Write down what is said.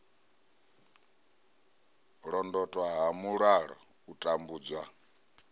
londotwa ha mulala u tambudzwa